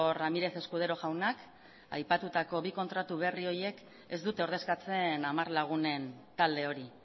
ramírez escudero jaunak aipatutako bi kontratu berri horiek ez dute ordezkatzen hamar lagunen talde hori